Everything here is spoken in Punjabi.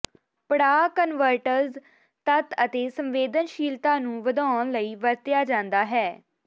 ਪੜਾਅ ਕਨਵਟਰਜ਼ ਤੱਤ ਦੀ ਸੰਵੇਦਨਸ਼ੀਲਤਾ ਨੂੰ ਵਧਾਉਣ ਲਈ ਵਰਤਿਆ ਜਾਦਾ ਹੈ